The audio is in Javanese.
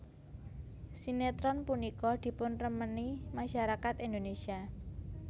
Sinétron punika dipunremeni masyarakat Indonésia